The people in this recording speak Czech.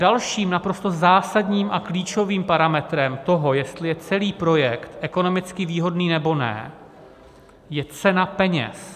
Dalším naprosto zásadním a klíčovým parametrem toho, jestli je celý projekt ekonomicky výhodný, nebo ne, je cena peněz.